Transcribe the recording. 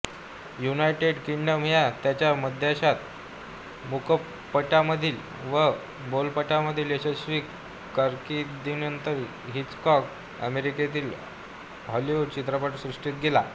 United Kingdom या त्याच्या मायदेशात मूकपटांमधील व बोलपटांमधील यशस्वी कारकीर्दीनंतर हिचकॉक अमेरिकेतील हॉलिवुड चित्रपटसृष्टीत गेला